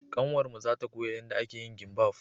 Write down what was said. Ƙanwar mu za ta koya yanda ake yin gimbaf